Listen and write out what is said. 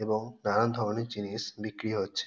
এবং নানান ধরনের জিনিস বিক্রি হচ্ছে।